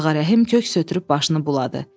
Ağa Rəhim köks ötürüb başını buladı.